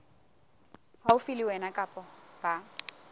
haufi le wena kapa ba